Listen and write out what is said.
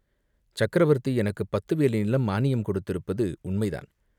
சக்கரவர்த்தி எனக்குப் பத்து வேலி நிலம் மானியம் கொடுத்திருப்பது உண்மைதான்.